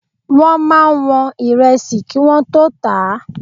Wọ́n máa ń wọn Ìrẹsì kí wọ́n tó tà á.